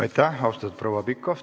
Aitäh, austatud proua Pikhof!